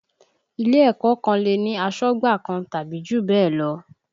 Ilé ẹ̀kọ́ kan lè ní asọ́gbà kan tàbí jù bẹ́ẹ̀ lọ